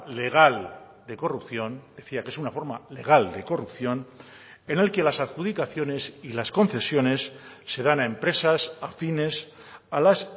legal de corrupción decía que es una forma legal de corrupción en el que las adjudicaciones y las concesiones se dan a empresas afines a las